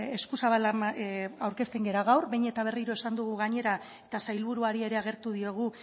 agertzen gara gaur behin eta berriro esan dugu gainera eta sailburuari ere agertu diogu